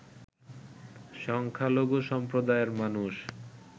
সংখ্যালঘু সম্প্রদায়ের মানুষ